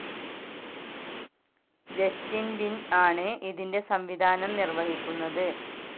Justin Lin ആണ് ഇതിൻ്റെ സംവിധാനം നിർവ്വഹിക്കുന്നത്.